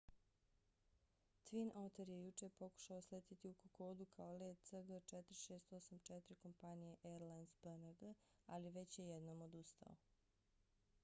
twin otter je jučer pokušao sletjeti u kokodu kao let cg4684 kompanije airlines png ali već je jednom odustao